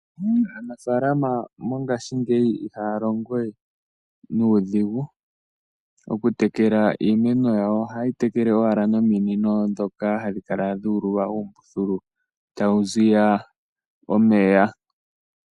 Aanafaalama mongaashingeyi ihaya longowe nuudhigu oku tekela iimeno yawo. Ohaye yi tekele owala nominino ndhoka hadhi kala dhuululwa uumbululu tawu ziya omeya.